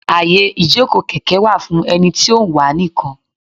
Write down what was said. Àyè ìjókòó kèké wà fún ẹni tí ó ń wà á nìkan.